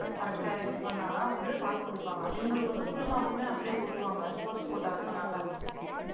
correct டா இருக்கும்னா தான் வந்து mark குடுப்பாங்க இவுங்களுக்கு வந்து fullmark குமே அப்படியே போட்ருவாங்க sports quota இருக்கிரனால.